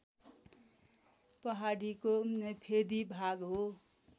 पहाडीको फेदी भाग हो